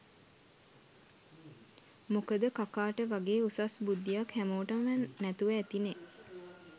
මොකද කකාට වගේ උසස් බුද්ධ්යක් හැමෝටම නැතුව ඇතිනෙ